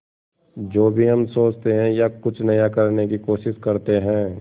जो भी हम सोचते हैं या कुछ नया करने की कोशिश करते हैं